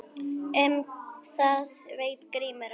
Um það veit Grímur ekkert.